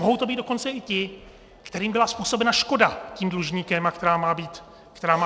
Mohou to být dokonce i ti, kterým byla způsobena škoda tím dlužníkem, která má být nahrazena.